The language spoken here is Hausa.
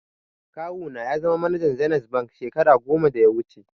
Kawu na ya zama manajan zenith bank shekara goma da ya wuche